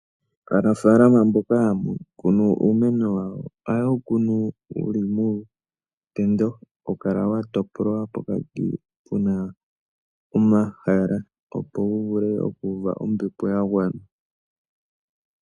Aanafalama mboka haya kunu uumeno wawo ohaye wu kunu wuli muutendo. Ohawu kala wa topolwa pokati pwa pita omahala, opo wu uve ombepo ya gwana.